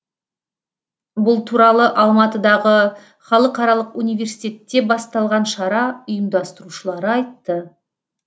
бұл туралы алматыдағы халықаралық университетте басталған шара ұйымдастырушылары айтты